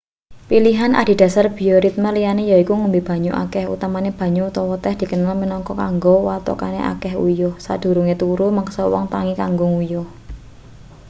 pilihan adhedhasar bioritme liyane yaiku ngombe banyu akeh utamane banyu utawa teh dikenal minangka kanggo wetokake akeh uyuh sadurunge turu meksa wong tangi kanggo nguyuh